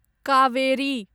Kaveri